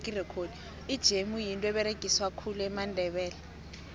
ijemu yinto eberegiswa khulu mandebele